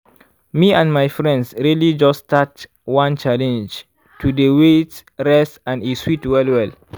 me and my friends really just start one challenge to dey wait rest and e sweet well well.